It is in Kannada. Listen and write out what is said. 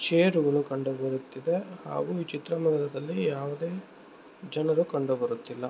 ಚೇರುಗಳು ಕಂಡುಬರುತ್ತಿದೆ ಹಾಗು ಈ ಚಿತ್ರಮಂದಿರದಲ್ಲಿ ಯಾವುದೇ ಜನರು ಕಂಡುಬರುತ್ತಿಲ್ಲಾ.